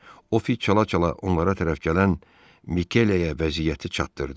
O fit çala-çala onlara tərəf gələn Mikeliyaya vəziyyəti çatdırdı.